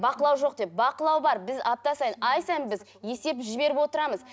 бақылау жоқ деп бақылау бар біз апта сайын ай сайын біз есеп жіберіп отырамыз